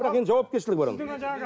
бірақ енді жауапкершілігі бар оның